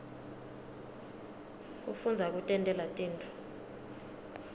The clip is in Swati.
kufundza kutentela tintfo